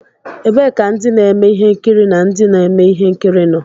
Ebee ka ndị na-eme ihe nkiri na ndị na-eme ihe nkiri nọ?